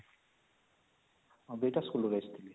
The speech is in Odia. ହଁ ୨ଟା school ରୁ ଆକ ଆସିଥିଲେ